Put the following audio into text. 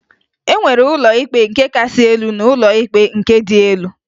E nwere ụlọ ikpe nke kasị elu na ụlọ ikpe nke dị elu